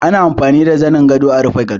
Ana amfani da zanin gado a rufe gado